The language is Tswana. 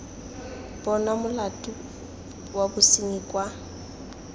bonwa molato wa bosenyi kwa